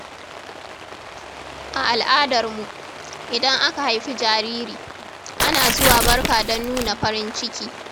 A al’adar mu, idan aka haifi jariri, ana zuwa barka don nuna farin ciki.